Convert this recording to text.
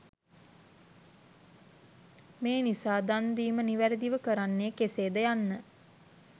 මේ නිසා දන් දීම නිවැරැදිව කරන්නේ කෙසේද යන්න